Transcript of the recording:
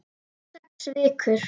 Sex vikur.